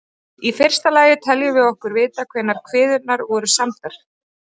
Í fyrsta lagi teljum við okkur vita hvenær kviðurnar voru samdar.